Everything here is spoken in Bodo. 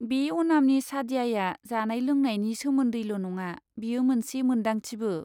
बे अनामनि सादयाया जानाय लोंनायनि सोमोन्दैल' नङा, बेयो मोनसे मोनदांथिबो।